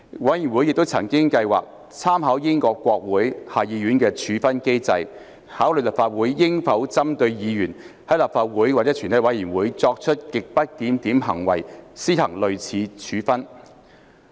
委員會亦曾計劃參考英國國會下議院的處分機制，考慮立法會應否針對議員在立法會或全體委員會作出極不檢點行為，施行類似處分。